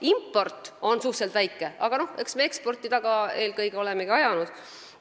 Impordi osa on suhteliselt väike, aga eks me olemegi eelkõige eksporti taga ajanud.